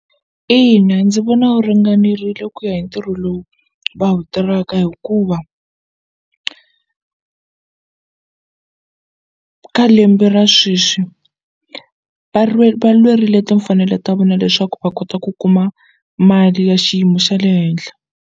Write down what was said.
Ina ndzi vona wu ringanerile ku ya hi ntirho lowu va wu tirhaka hikuva ka lembe ra sweswi va va lwerile timfanelo ta vona leswaku va kota ku kuma mali ya xiyimo xa le henhla.